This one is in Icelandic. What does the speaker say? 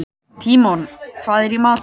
Tímon, hvað er í matinn?